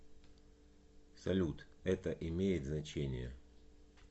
салют это имеет значение